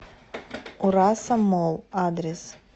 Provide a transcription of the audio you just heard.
ураса молл адрес